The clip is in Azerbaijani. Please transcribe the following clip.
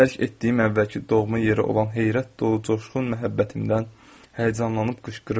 Tərk etdiyim əvvəlki doğma yeri olan heyrət dolu coşqun məhəbbətimdən həyəcanlanıb qışqırırdım.